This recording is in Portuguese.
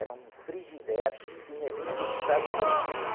Era um que tinha vindo dos Estados Unidos.